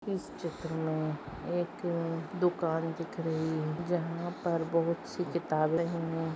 इस चित्र मे एक दुकान दिख रही है जहा पर बहुतसी किताबे है।